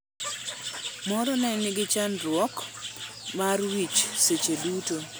Moro ne nigi chandruok mar wich seche duto.